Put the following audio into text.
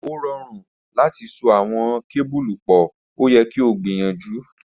O rọrun lati so awọn kebulu pọ, o yẹ ki o gbiyanju.